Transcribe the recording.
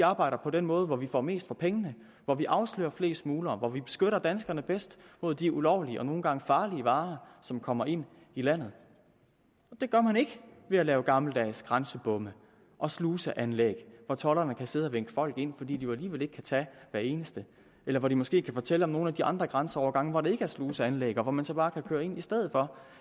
arbejder på den måde hvor vi får mest for pengene hvor vi afslører flest smuglere hvor vi beskytter danskerne bedst mod de ulovlige og nogle gange farlige varer som kommer ind i landet det gør man ikke ved at lave gammeldags grænsebomme og sluseanlæg hvor tolderne kan sidde og vinke folk ind for de kan jo alligevel ikke tage hver eneste eller hvor de måske kan fortælle om nogle af de andre grænseovergange hvor der ikke er sluseanlæg og hvor man så bare kan køre ind i stedet